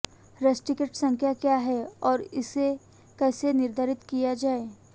steric संख्या क्या है और इसे कैसे निर्धारित किया जाए